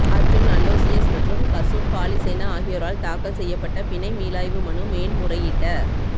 அர்ஜுன் அலோஷியஸ் மற்றும் கசுன் பாலிசேன ஆகியோரால் தாக்கல் செய்யப்பட்ட பிணை மீளாய்வு மனு மேன்முறையீட்ட